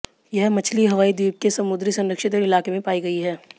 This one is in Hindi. यह मछली हवाई द्वीप के समुद्री संरक्षित इलाके में पाई गई है